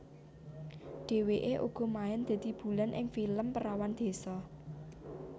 Dheweke uga main dadi Bulan ing film Perawan Désa